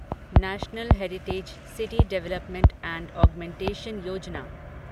national heritage city development and augmentation Yojana